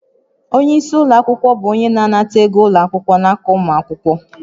Onye isi ụlọ akwụkwọ bụ onye na-anata ego ụlọ akwụkwọ n'aka ụmụ akwụkwọ